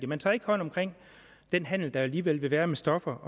man tager ikke hånd om den handel der alligevel vil være med stoffer